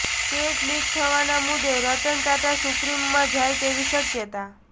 tap leak થવાના મુદ્દે રતન ટાટા સુપ્રીમમાં જાય તેવી શક્યતા